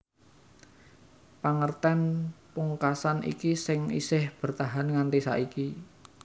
Pangertèn pungkasan iki sing isih bertahan nganti saiki